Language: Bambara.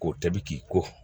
Ko tɛ bi k'i ko